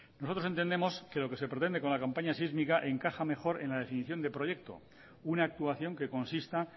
nosotros entendemos que lo que se pretende con la campaña sísmica encaja mejor en la definición de proyecto una actuación que consista